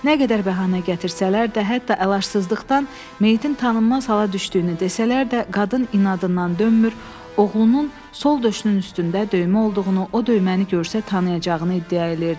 Nə qədər bəhanə gətirsələr də, hətta əlacızlıqdan meyitin tanınmaz hala düşdüyünü desələr də, qadın inadından dönmür, oğlunun sol döşünün üstündə döymə olduğunu, o döyməni görsə tanıyacağını iddia edirdi.